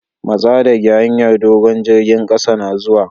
Matsa dage hanyar dogo'n! jirigin kasa na zuwa!